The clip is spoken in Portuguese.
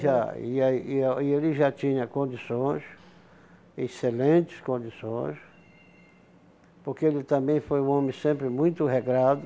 Já, e aí e ah e ele já tinha condições, excelentes condições, porque ele também foi um homem sempre muito regrado,